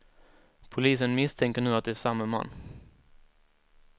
Polisen misstänker nu att det är samma man.